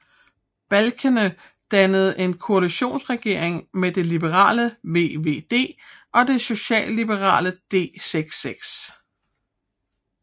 Balkenende dannede en koalitionsregering med det liberale VVD og det socialliberale D66